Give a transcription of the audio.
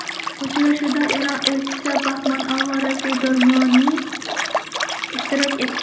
Uchrashuvda Eron Elchisi Bahman Og‘oroziy Do‘rmoniy ishtirok etdi.